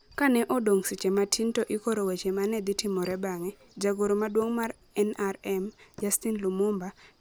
Kane odong ' seche matin to ikoro weche ma ne dhi timore bang'e, jagoro maduong ' mar NRM, Justine Lumumba, ne ondiko weche ma ne dhi nyiso kaka ne ogoyo erokamano: